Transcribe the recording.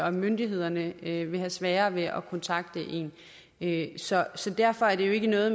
og myndighederne vil have svært ved at kontakte en så så derfor er det jo ikke noget